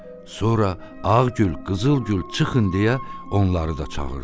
Sonra Ağ Gül, Qızıl Gül, çıxın deyə onları da çağırdı.